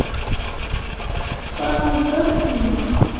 Hvað með börnin okkar?